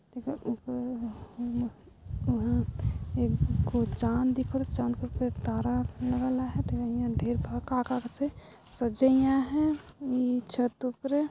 एकर उपरे वहां कुछ चाँद और चाँद के उपरे तारा लगल आहाय तेकर नियर ढेर भल का का कसे सजाय आहाय इ छत उपरे |